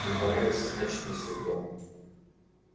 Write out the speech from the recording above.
не понравится значит не судьба